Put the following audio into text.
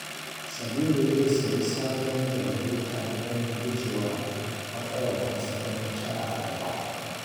Sabiru zai sayi sabon janareta don gujewa matsalar hasken wuta a gaba.